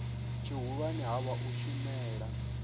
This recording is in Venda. tshihulwane ha vha u shumela